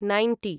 ninety